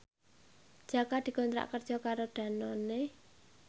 Jaka dikontrak kerja karo Danone